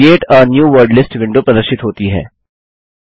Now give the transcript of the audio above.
create a new word list window प्रदर्शित होती है